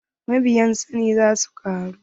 Mabiyan Sani za su ƙaru.